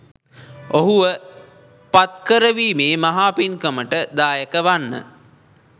ඔහුව පත්කරවීමේ මහා පින්කමට දායක වන්න.